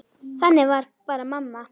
Þannig var bara mamma.